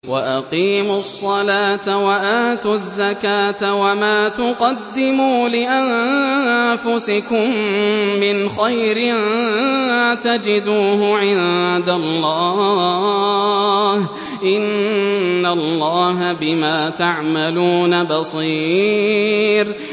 وَأَقِيمُوا الصَّلَاةَ وَآتُوا الزَّكَاةَ ۚ وَمَا تُقَدِّمُوا لِأَنفُسِكُم مِّنْ خَيْرٍ تَجِدُوهُ عِندَ اللَّهِ ۗ إِنَّ اللَّهَ بِمَا تَعْمَلُونَ بَصِيرٌ